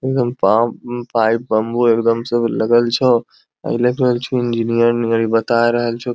एगदम पा pipe bamboo एगदम सब लगल छौ अएले इंजिनियर नियर बताय रहल छो।